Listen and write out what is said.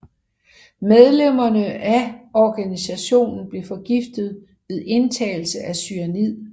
Medlemmerne af organisationen blev forgiftet ved indtagelse af cyanid